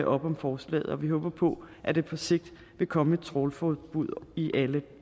op om forslaget og vi håber på at der på sigt vil komme et trawlforbud i alle